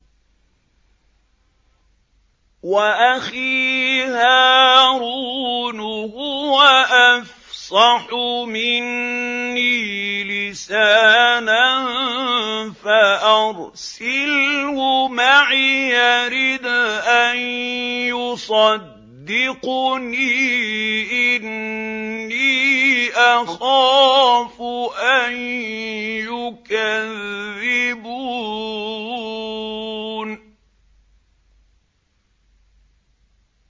وَأَخِي هَارُونُ هُوَ أَفْصَحُ مِنِّي لِسَانًا فَأَرْسِلْهُ مَعِيَ رِدْءًا يُصَدِّقُنِي ۖ إِنِّي أَخَافُ أَن يُكَذِّبُونِ